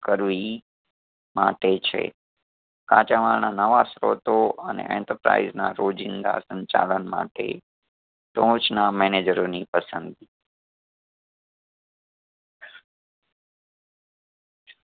કરવી ઈ માટે છે. કાચામાલના નવા સ્ત્રોતો અને enterprise ના રોજિંદા સંચાલન માટે ટોચના મેનેજરોની પસંદગી